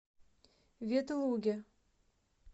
ветлуге